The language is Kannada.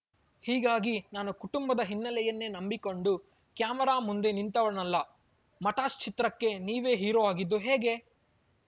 ಹೀಗಾಗಿ ನಾನು ಕುಟುಂಬದ ಹಿನ್ನೆಲೆಯನ್ನೇ ನಂಬಿಕೊಂಡು ಕ್ಯಾಮೆರಾ ಮುಂದೆ ನಿಂತವನಲ್ಲ ಮಟಾಶ್‌ ಚಿತ್ರಕ್ಕೆ ನೀವೇ ಹೀರೋ ಆಗಿದ್ದು ಹೇಗೆ